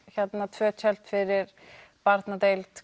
tvö tjöld fyrir barnadeild